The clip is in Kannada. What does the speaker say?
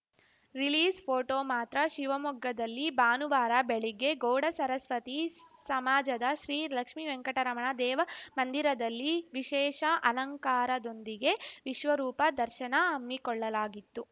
ರಿಲೀಜ್‌ ಫೋಟೋ ಮಾತ್ರ ಶಿವಮೊಗ್ಗದಲ್ಲಿ ಭಾನುವಾರ ಬೆಳಿಗ್ಗೆ ಗೌಡಸರಸ್ವತಿ ಸಮಾಜದ ಶ್ರೀ ಲಕ್ಷ್ಮಿವೆಂಕಟರಮಣ ದೇವಮಂದಿರದಲ್ಲಿ ವಿಶೇಷ ಅಲಕಾಂರದೊಂದಿಗೆ ವಿಶ್ವರೂಪ ದರ್ಶನ ಹಮ್ಮಿಕೊಳ್ಳಲಾಗಿತ್ತು